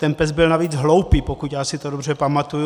Ten pes byl navíc hloupý, pokud já si to dobře pamatuji.